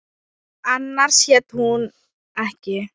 Annars hét hún ekki